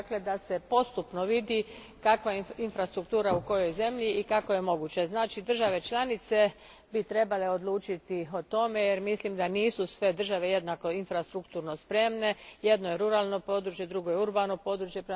Dakle, da se postupno vidi kakva je infrastruktura u kojoj zemlji i kako je moguće. Znači države članice bi trebale odlučiti o tome, jer mislim da nisu sve države jednako infrastrukturno spremne jedno je ruralno područje, drugo je urbano područje.